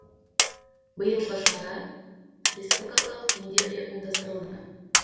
биылғы шара республикалық деңгейде ұйымдастырылды